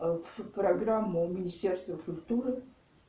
аа в программу министерство культуры